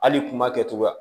Hali kuma kɛcogoya